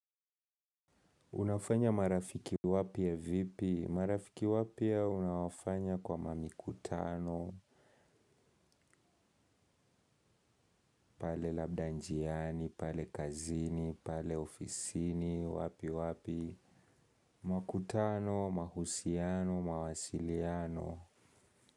Unafanya marafiki wapya vipi? Marafiki wapya unawafanya kwa ma mikutano, pale labda njiani, pale kazini, pale ofisini, wapi wapi, makutano, mahusiano, mawasiliano.